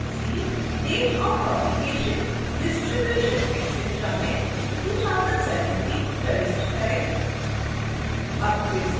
subfield c date of publication distribution etc में 2017 प्रविष्ट करें